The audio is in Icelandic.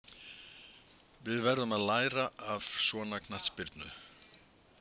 Við verðum að læra af svona knattspyrnu.